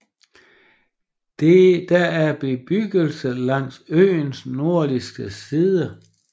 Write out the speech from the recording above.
Der er bebyggelse langs øens nordvestlige side